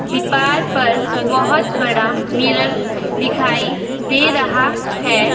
दीपार पर बहुत बड़ा मिरर दिखाई दे रहा है.